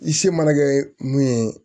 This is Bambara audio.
I se mana kɛ mun ye